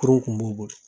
Kurun kun b'u bolo